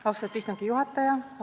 Austatud istungi juhataja!